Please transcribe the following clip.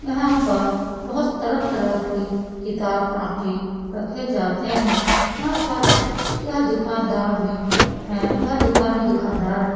यहाँ पर बोहत तरह तरह के किताब कॉपी रखे जाते है यहाँ पर यह दुकानदार में है यह दुकानदार है